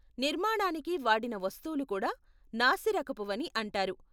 నిర్మాణానికి వాడిన వస్తువులు కూడా నాసిరకపువని అంటారు.